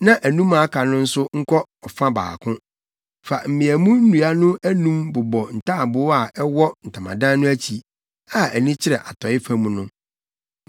na anum a aka no nso nkɔ ɔfa baako. Fa mmeamu nnua no anum bobɔ ntaaboo a ɛwɔ ntamadan no akyi, a ani kyerɛ atɔe fam no.